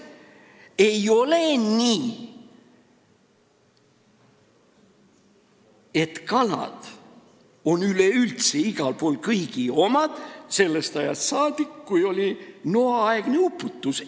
Ei ole nii, et kalad on üleüldse igal pool olnud kõigi omad sellest ajast saadik, kui oli Noa-aegne uputus.